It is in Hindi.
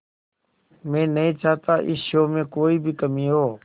मैं नहीं चाहता इस शो में कोई भी कमी हो